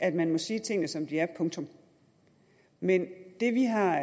at man må sige tingene som de er punktum men det vi har